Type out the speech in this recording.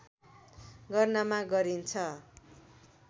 गर्नमा गरिन्छ